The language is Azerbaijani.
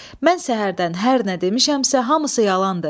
Mən səhərdən hər nə demişəmsə, hamısı yalandır.